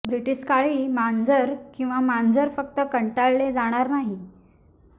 British काळी मांजर किंवा मांजर फक्त कंटाळले जाणार नाही